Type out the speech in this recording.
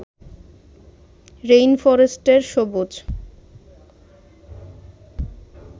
রেইনফরেস্টের সবুজ